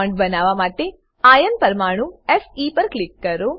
bond બનાવવા માટે iron પરમાણુ પર ક્લિક કરો